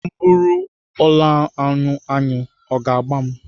M bụrụ ụlọaṅụ aṅụ, ọ ga agba m?